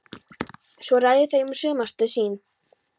Svo ræða þau um sumarstörf sín.